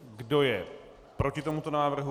Kdo je proti tomuto návrhu?